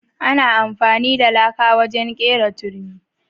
Ana amfani da laka wajen kera turmi.